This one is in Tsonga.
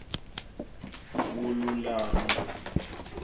vululami